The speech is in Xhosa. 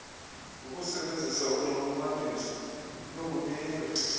ngokusebenzisa unxulumaniso lokunika